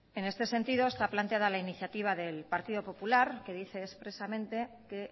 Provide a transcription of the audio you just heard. en este sentido está planteada la iniciativa del partido popular que dice expresamente que